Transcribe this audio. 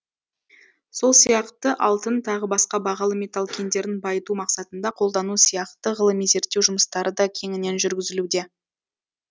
сол сияқты алтын тағы басқа бағалы металл кендерін байыту мақсатында қолдану сияқты ғылыми зерттеу жұмыстары да кеңінен жүргізілуде